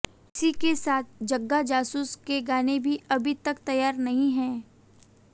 इसी के साथ जग्गा जासूस के गाने भी अभी तक तैयार नहीं हैं